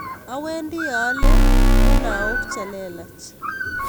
Awendi aale miwanik che lelach